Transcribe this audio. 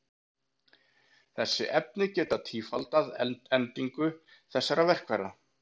Þessi efni geta tífaldað endingu þessara verkfæra.